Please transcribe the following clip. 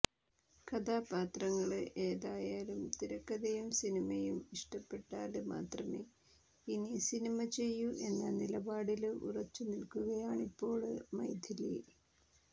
കഥാപാത്രങ്ങള് ഏതായാലും തിരക്കഥയും സിനിമയും ഇഷ്ടപ്പെട്ടാല് മാത്രമേ ഇനി സിനിമ ചെയ്യൂ എന്ന നിലപാടില് ഉറച്ചു നില്ക്കുകയാണിപ്പോള് മൈഥിലി